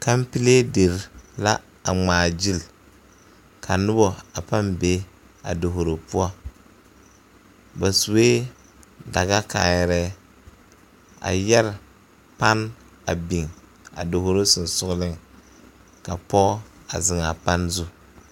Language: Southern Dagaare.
Kampile dere la ŋmaa gyili ka noba pãã be a dovoro poɔ ba sue dagakaayare a yɛre tan a biŋ a dovoro sensɔgleŋ ka pɔge a zeŋ a pane zu.